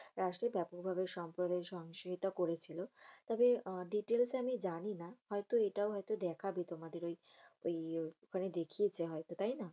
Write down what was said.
রাষ্টে ব্যাপকভাবে সরকারে সহিংসতা করেছিল। তবে Details আমি জানিনা। হয়তো এটাও হয়তো দেখা যেতো তোমাদের ঐ আহ দেখিয়েছে হয়তো তাই না?